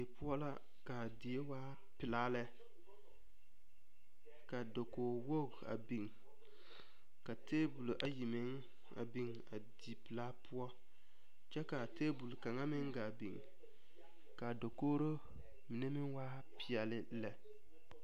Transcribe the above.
Die poɔ la kaa die waa pelaa lɛ, ka dakogi wogi a biŋ ka tabolɔ ayi meŋ a biŋ a di pelaa poɔ kyɛ kaa tabol kaŋa meŋ gaa biŋ, kaa dakori mine meŋ. waa pɛɛle lɛ.